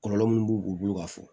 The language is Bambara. Kɔlɔlɔ minnu b'u bolo ka fɔ